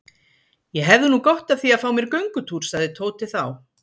Ég hefði nú gott af því að fá mér göngutúr sagði Tóti þá.